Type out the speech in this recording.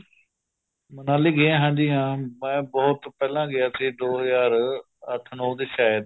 ਮਨਾਲੀ ਗਿਆ ਹਾਂਜੀ ਹਾਂ ਮੈਂ ਬਹੁਤ ਪਹਿਲਾਂ ਗਿਆ ਸੀ ਦੋ ਹਜ਼ਾਰ ਅੱਠ ਨੋ ਚ ਸ਼ਾਇਦ